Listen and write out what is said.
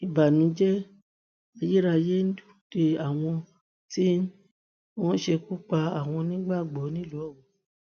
ìbànújẹ ayérayé ń dúró de àwọn tí wọn ṣekú pa àwọn onígbàgbọ nílùú